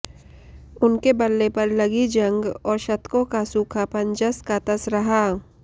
उनके बल्ले पर लगी जंग और शतकों का सूखापन जस का तस रहा